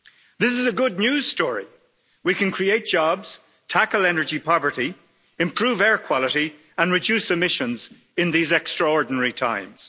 This is a good news story we can create jobs, tackle energy poverty, improve air quality and reduce emissions in these extraordinary times.